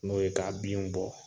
N'o ye k'a binw bɔ